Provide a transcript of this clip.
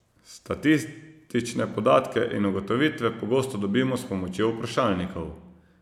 Statistične podatke in ugotovitve pogosto dobimo s pomočjo vprašalnikov.